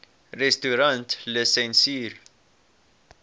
restaurantlisensier